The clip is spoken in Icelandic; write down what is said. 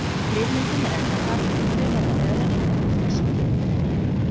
Ryðmyndun er efnahvarf og þau verða örari eftir því sem hitinn er meiri.